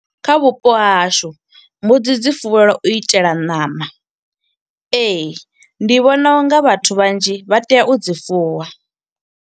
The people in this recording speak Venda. Kha vhupo ha hashu, mbudzi dzi fuwelwa u itela ṋama. Ee, ndi vhona unga vhathu vhanzhi vha tea u dzi fuwa.